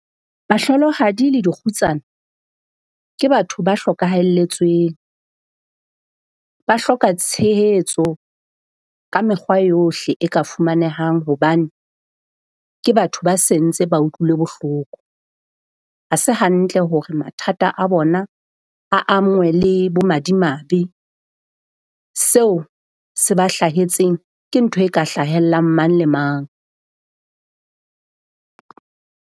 Bahlolohadi le dikgutsana ke batho ba hlokahalletsweng. Ba hloka tshehetso ka mekgwa yohle e ka fumanehang. Hobane ke batho ba se ntse ba utlwile bohloko. Ha se hantle hore mathata a bona le bo madimabe. Seo se ba hlahetseng ke ntho e ka hlahellang mang le mang.